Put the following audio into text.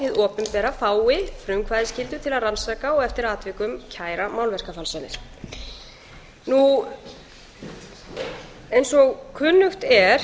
og að hið opinbera fái frumkvæðisskyldu til að rannsaka og eftir atvikum kæra málverkafalsanir eins og kunnugt er